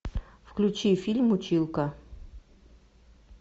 включи фильм училка